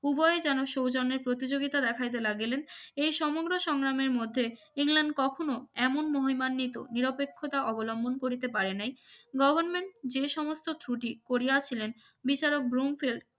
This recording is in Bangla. উভয়ে যেন সৌজন্যের প্রতিযোগিতা দেখাইতে লাগলেন এই সমগ্র সংগ্রামের মধ্যে ইংল্যান্ড কখনো এমন মহিমান্বিত নিরপেক্ষতা অবলম্বন করিতে পারে নাই গভারমেন্ট যে সমস্ত ত্রুটি করিয়াছিলেন বিচারক ব্রোমফেল